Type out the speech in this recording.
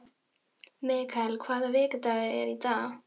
Mikael, hvaða vikudagur er í dag?